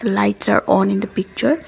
the lights are on in the picture.